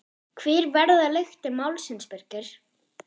Hver verða lyktir málsins Birgir?